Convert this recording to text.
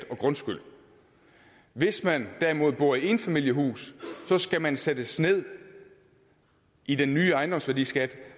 og grundskyld hvis man derimod bor i enfamilieshus skal man sættes ned i den nye ejendomsværdiskat